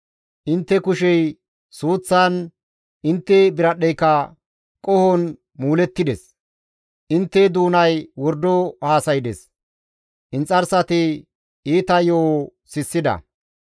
Intte kushey suuththan, intte biradhdheyka qohon muulettides; intte doonay wordo haasaydes; inxarsati iita yo7o sissida.